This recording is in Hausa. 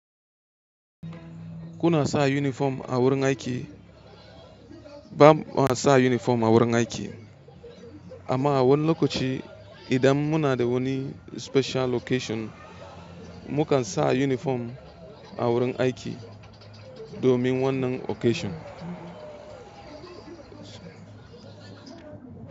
Kuna sa uniform a wurin aiki? Ba ma sa uniform a wurin aiki, amma a wani lokaci idan muna da wani special occasion, mu kan sa uniform a wurin aiki domin wannan occasion.